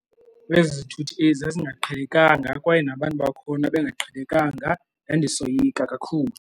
Ezi zithuthi ezi zazingaqhelekanga kwaye nabantu bakhona bengaqhelekanga. Ndandisoyika kakhulu.